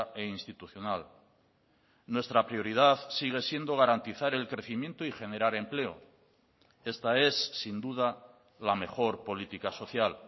e institucional nuestra prioridad sigue siendo garantizar el crecimiento y generar empleo esta es sin duda la mejor política social